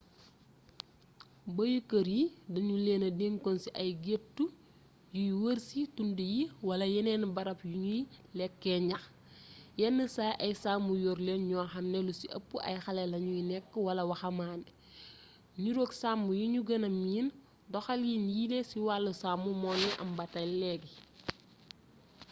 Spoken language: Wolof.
bëyu kër yi danu leena dencoon ci ay gettë yu y wërci tund yi wala yeneen barab yu nuy lekkee ñax yen saay ay sàmm yor leen ñoo xam ne lu ci ëpp ay xale lañuy nekk wala waxamaane niroog sàmm yinu gëna miin doxalin yiile ci wàllu sàmm mu ngi am ba léegi